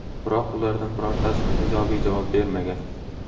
Biroq ulardan birortasi ijobiy javob bermagan.